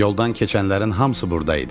Yoldan keçənlərin hamısı buradaydı.